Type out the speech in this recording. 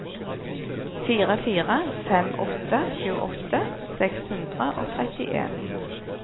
fire fire fem åtte tjueåtte seks hundre og trettien